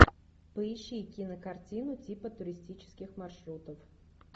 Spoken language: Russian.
поищи кинокартину типа туристических маршрутов